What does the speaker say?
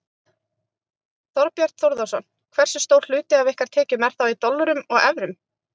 Þorbjörn Þórðarson: Hversu stór hluti af ykkar tekjum er þá í dollurum og evrum?